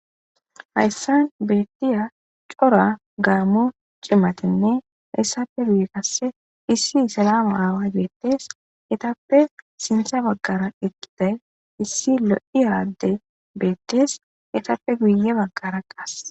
Hayssan beettiya cora gaammu cimatenne hayssafe guye qasse issi salama aawa geettes etappe sintsa baggara eqqiday issi lo'i aradde beettis etappe guye baggara qas.